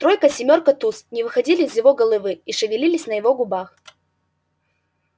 тройка семёрка туз не выходили из его головы и шевелились на его губах